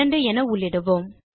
2 என உள்ளிடுவோம்